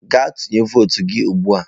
Gaa tụnye votu gị ugbu a!